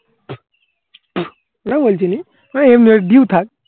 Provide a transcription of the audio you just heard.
সেটা বলছিনি মানে due থাকে